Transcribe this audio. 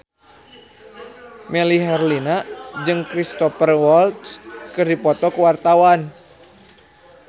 Melly Herlina jeung Cristhoper Waltz keur dipoto ku wartawan